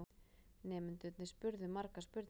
Nemendurnir spurðu margra spurninga.